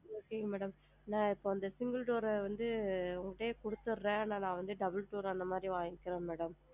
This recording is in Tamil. Okay madam நான் இப்ப இந்த single door ற வந்து குடுத்திடுறேன் நான் இப்ப double door அந்த மாதிரி வாங்கிக்கிறேன் ma'am